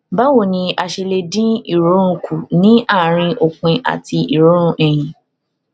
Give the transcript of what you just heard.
báwo ni a ṣe lè dín ìròrùn kù ní àárín òpin àti ìròrùn ẹyin